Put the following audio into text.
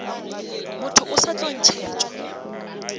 motho o sa tlo ntšhetšwa